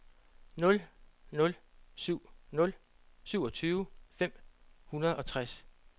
nul nul syv nul syvogtyve fem hundrede og tres